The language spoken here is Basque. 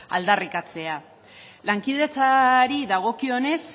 aldarrikatzea lankidetzari dagokionez